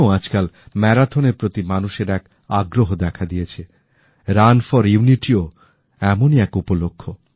আজকাল ম্যারাথন র প্রতি মানুষের এক নতুন আগ্রহ দেখা দিয়েছে রান ফর ইউনিটিও এমনই একটি উপলক্ষ্য